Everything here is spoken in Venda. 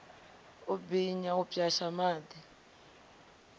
u binya u pwasha miḓi